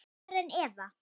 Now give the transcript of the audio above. Karen Eva.